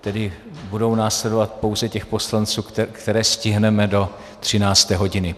tedy budou následovat pouze těch poslanců, které stihneme do 13. hodiny.